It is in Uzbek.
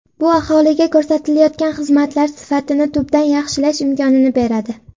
Bu aholiga ko‘rsatilayotgan xizmatlar sifatini tubdan yaxshilash imkonini beradi.